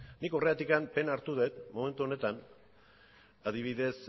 nik horregatik pena hartu dut momentu honetan adibidez